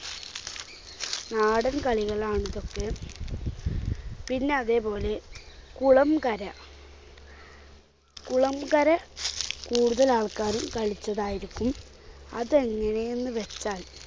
നാടൻ കളികളാണിതൊക്കെ പിന്നെ അതേപോലെ കുളംകര. കുളംകര കൂടുതൽ ആൾക്കാരും കളിച്ചതായിരിക്കും. അതെങ്ങനെയെന്ന് വ്യക്താ .